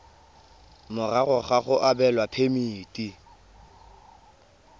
morago ga go abelwa phemiti